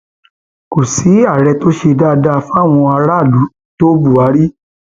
kò sí ààrẹ tó ṣe dáadáa fáwọn aráàlú tó buhari